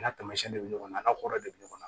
N'a tamasiyɛn dɔ bɛ ɲɔgɔn na a ka hɔrɔn de bɛ ɲɔgɔn na